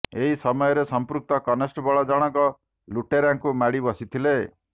ଏହି ସମୟରେ ସମ୍ପୃକ୍ତ କନଷ୍ଟେବଳ ଜଣଙ୍କ ଲୁଟେରାକୁ ମାଡ଼ି ବସିଥିଲେ